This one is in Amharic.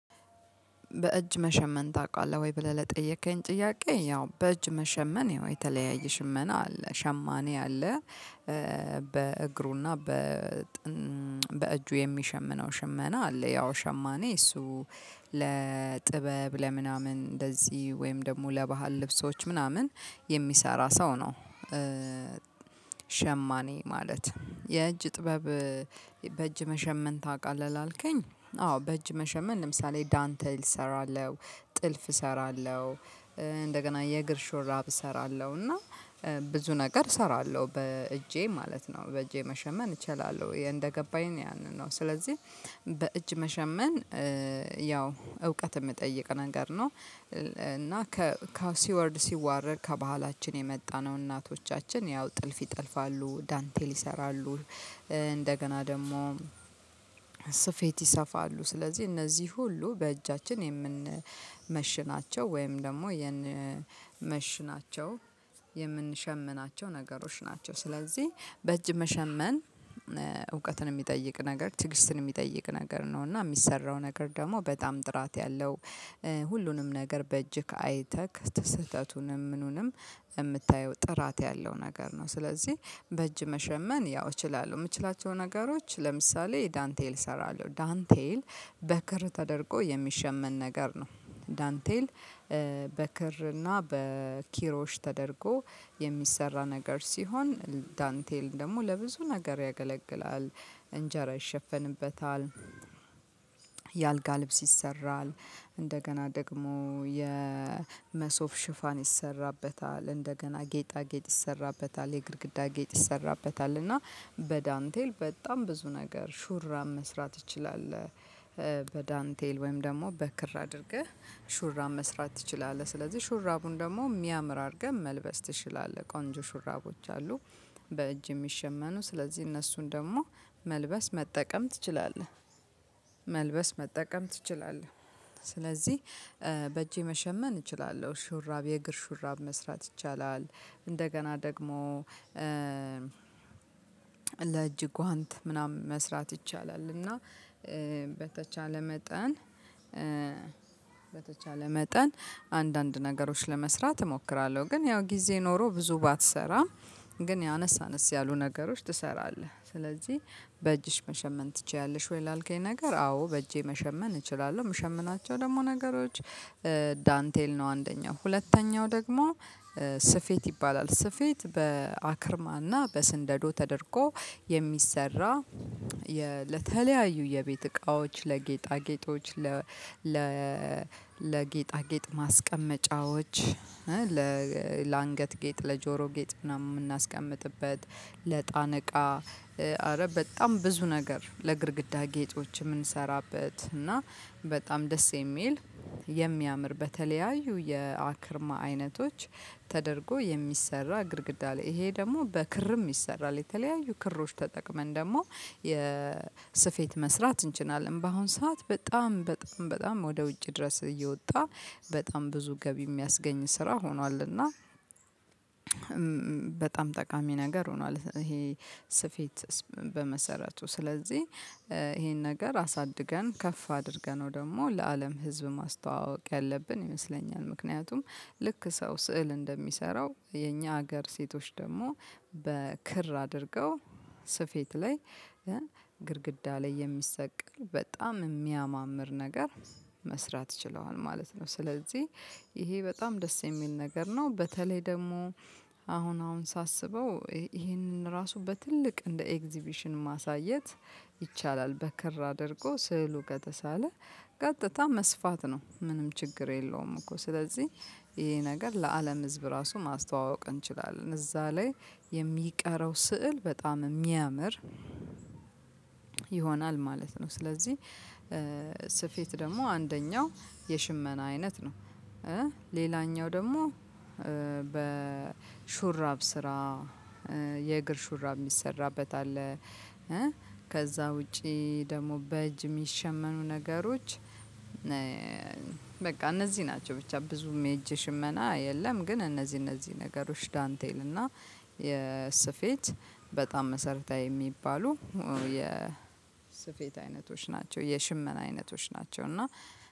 በእጅ መሸመን ታውቃለህ ወይ? ብለህ ለጠየከኝ ጥያቄ ያው በእጅ መሸመን ይኸው የተለያየ ሽመና አለ። ሸማኔ አለ። በእግሩና በ በእጁ የሚሸምነው ሽመና አለ። ያው ሸማኔ እሱ ለጥበብ ለምናምን እንደዚህ ወይም ደግሞ ለባህል ልብሶች ምናምን የሚሰራ ሰው ነው። ሸማኔ ማለት የእጅ ጥበብ በእጅ መሸመን ታውቃለህ ላልከኝ አዎ በእጅ መሸመን ለምሳሌ ዳንተል እሰራለሁ፤ ጥልፍ እሰራለሁ። እንደገና የእግር ሹራብ እሰራለሁ። እና ብዙ ነገር እሰራለሁ በእጄ ማለት ነው በእጄ መሸመን እችላለሁ። እንደገባኝ ያንን ነው። ስለዚህ በእጅ መሸመን ያው እውቀት የሚጠይቅ ነገር ነው። እና ከሲወርድ ሲዋረድ ከባህላችን የመጣ ነው። እናቶቻችን ያው ጥልፍ ይጠልፋሉ ዳንቴል ይሰራሉ። እንደገና ደግሞ ስፌት ይሰፋሉ። ስለዚህ እነዚህ ሁሉ በእጃችን የምንመሽናቸው ወይም ደግሞ የምንመሽናቸው የምንሸምናቸው ነገሮች ናቸው። ስለዚህ በእጅ መሸመን እውቀትን የሚጠይቅ ነገር ትግስትን የሚጠይቅ ነገር ነው። እና የሚሰራው ነገር ደግሞ በጣም ጥራት ያለው ሁሉንም ነገር በእጅህ አይተህ ስህተቱንም ምኑንም የምታየው ጥራት ያለው ነገር ነው። ስለዚህ በእጅ መሸመን ያው እችላለሁ። የምችላቸው ነገሮች ለምሳሌ ዳንቴል እሰራለሁ። ዳንቴል በክር ተደርጎ የሚሸመን ነገር ነው። ዳንቴል በክርና በኪሮሽ ተደርጎ የሚሰራ ነገር ሲሆን ዳንቴል ደግሞ ለብዙ ነገር ያገለግላል። እንጀራ ይሸፍንበታል፤ የአልጋ ልብስ ይሰራል፤ እንደገና ደግሞ የመሶብ ሽፋን ይሰራበታል፤ እንደገና ጌጣጌጥ ይሰራበታል፤ የግድግዳ ጌጥ ይሰራበታል። እና በዳንቴል በጣም ብዙ ነገር ሹራብ መስራት ትችላለህ። በዳንቴል ወይም ደግሞ በክር አድርገህ ሹራብ መስራት ትችላለህ። ስለዚህ ሹራቡን ደግሞ የሚያምር አድርገህ መልበስ ትችላለህ። ቆንጆ ሹራቦች አሉ። በእጅ የሚሸመኑ ስለዚህ እነሱን ደግሞ መልበስ መጠቀም ትችላለህ። መልበስ መጠቀም ትችላለህ። ስለዚህ በእጄ መሸመን እችላለሁ። ሹራብ የእግር ሹራብ መስራት ይቻላል። እንደገና ደግሞ ለእጅ ጓንት ምናምን መስራት ይቻላል። እና በተቻለ መጠን በተቻለ መጠን አንዳንድ ነገሮች ለመስራት እሞክራለሁ። ግን ያው ጊዜ ኖሮህ ብዙ ባትሰራም ግን አነስ አነስ ያሉ ነገሮች ትሰራለህ። ስለዚህ በእጅሽ መሸመን ትችያለሽ ወይ? ላልከኝ ነገር አዎ በእጄ መሸመን እችላለሁ። የምሸምናቸው ደግሞ ነገሮች ዳንቴል ነው አንደኛው ሁለተኛው ደግሞ ስፌት ይባላል። ስፌት በአክርማና በስንደዶ ተደርጎ የሚሰራ ለተለያዩ የቤት እቃዎች ለጌጣጌጦች ለጌጣጌጥ ማስቀመጫዎች ለአንገት ጌጥ ለጆሮ ጌጥ ምናምን የምናስቀምጥበት ለእጣን እቃ ኧረ በጣም ብዙ ነገር ለግድግዳ ጌጦችም የምንሰራበት እና በጣም ደስ የሚል የሚያምር በተለያዩ የአክርማ አይነቶች ተደርጎ የሚሰራ ግድግዳ ላይ ይሄ ደግሞ በክርም ይሰራል። የተለያዩ ክሮች ተጠቅመን ደግሞ የሰፌት መስራት እንችላለን። በአሁን ሰዓት በጣም በጣም በጣም ወደ ውጭ ድረስ እየወጣ በጣም ብዙ ገቢ የሚያስገኝ ስራ ሆኗል። እና በጣም ጠቃሚ ነገር ሆኗል። ይሄ ስፌት በመሰረቱ፤ ስለዚህ ይሄን ነገር አሳድገን ከፍ አድርገነው ደግሞ ለአለም ህዝብ ማስተዋወቅ ያለብን ይመስለኛል። ምክንያቱም ልክ ሰው ስዕል እንደሚሰራው የኛ ሀገር ሴቶች ደግሞ በክር አድርገው ስፌት ላይ ግድግዳ ላይ የሚሰቀል በጣም የሚያማምር ነገር መስራት ችለዋል ማለት ነው። ስለዚህ ይሄ በጣም ደስ የሚል ነገር ነው። በተለይ ደግሞ አሁን አሁን ሳስበው ይሄንን ራሱ በትልቅ እንደ ኤግዚቢሽን ማሳየት ይቻላል። በክር አድርጎ ስዕሉ ከተሳለ ቀጥታ መስፋት ነው። ምንም ችግር የለውም እኮ። ስለዚህ ይሄ ነገር ለአለም ህዝብ ራሱ ማስተዋወቅ እንችላለን። እዛ ላይ የሚቀረው ስዕል በጣም የሚያምር ይሆናል ማለት ነው። ስለዚህ ስፌት ደግሞ አንደኛው የሽመና አይነት ነው። ሌላኛው ደግሞ በሹራብ ስራ የእግር ሹራብ የሚሰራበት አለ። ከዛ ውጪ ደግሞ በእጅ የሚሸመኑ ነገሮች በቃ እነዚህ ናቸው። ብቻ ብዙም የእጅ ሽመና የለም። ግን እነዚህ እነዚህ ነገሮች ዳንቴል እና የስፌት በጣም መሰረታዊ የሚባሉ የስፌት አይነቶች ናቸው። የሽመና አይነቶች ናቸው። እና